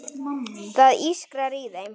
Það ískrar í þeim.